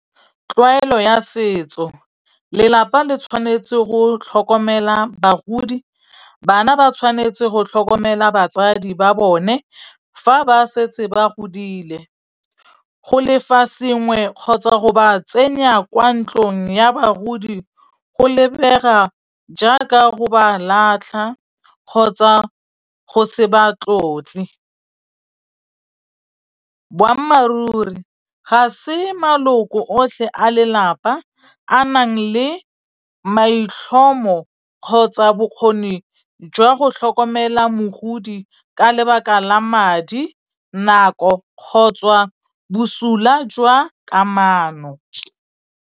Tlwaelo ya setso, lelapa le tshwanetse go tlhokomela bagodi, bana ba tshwanetse go tlhokomela batsadi ba bone fa ba setse ba godile. Go lefa sengwe kgotsa go ba tsenya kwa ntlong ya bagodi go lebega jaaka go ba latlha kgotsa go se ba tlotle. Boammaruri ga se maloko otlhe a lelapa a nang le maitlhomo kgotsa bokgoni jwa go tlhokomela mogodi ka lebaka la madi, nako kgotsa bosula jwa kamano.